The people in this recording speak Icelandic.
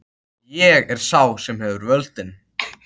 Ég er sá sem hefur völdin.